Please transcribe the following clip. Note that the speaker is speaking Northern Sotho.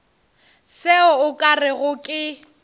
se o ka rego ke